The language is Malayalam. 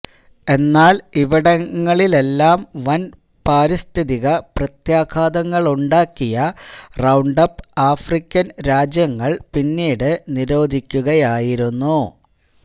എന്നാല് ഇവിടങ്ങളിലെല്ലാം വന് പാരിസ്ഥിതിക പ്രത്യാഘാതങ്ങളുണ്ടാക്കിയ റൌണ്ടപ്പ് ആഫ്രിക്കന് രാജ്യങ്ങള് പിന്നീടു നിരോധിക്കുകയായിരുന്നു